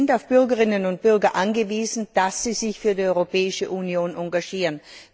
Wir sind auf Bürgerinnen und Bürger angewiesen, die sich für die Europäische Union engagieren.